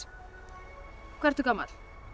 hvað ertu gamall